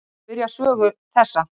Svo byrjar sögu þessa.